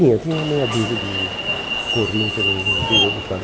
Tinha, tinha uma meia dúzia de que corriam pelo interior do estado.